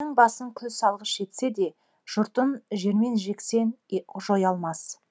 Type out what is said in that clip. ханның басын күлсалғыш етсе де жұртын жермен жексен жоя алмас